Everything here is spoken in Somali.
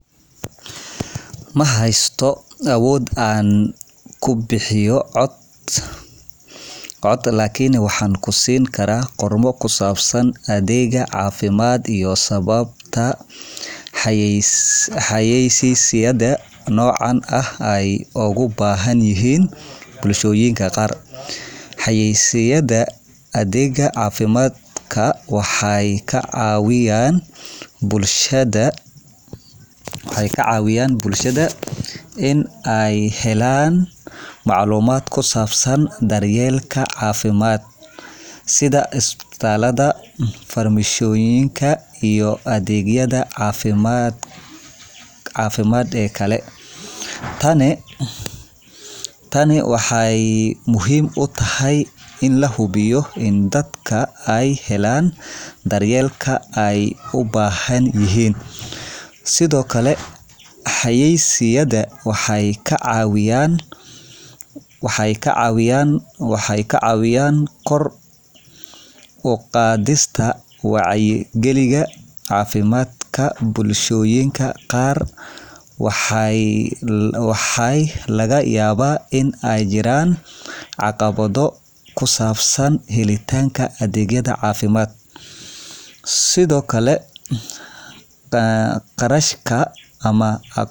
Ma heysto awood aan ku bixiyo cod, lakin waxaan kusini karaa qormo ku saabsan adeega cafimaad iyo sababta xayaysiinta nooca ugu baahan yihiin bulshooyinka qaar. Xayaysiinta adeega cafimaad waxay ka caawiyan bulshada iney helaan macluumaad ku saabsan daryeelka cafimaad sida isbitaalada, farmashiyoyinka, iyo adeegyada cafimaad ee kale. Tani waxay muhiim u tahay in la hubiyo in dadka ay helaan daryeelka ay u baahan yihiin. Sidoo kale, xayaysiinta waxay ka caawiyan kor u qaadista wacyigalinta cafimaadka bulshooyinka qaar. Waxa laga yaabaa in ay jiraan caqabado ku saabsan helitaanka adeegyada cafimaad, sida qarashka ama...